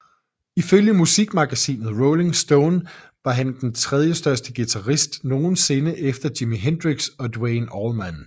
Ifølge musikmagasinet Rolling Stone var han den tredjestørste guitarist nogensinde efter Jimi Hendrix og Duane Allman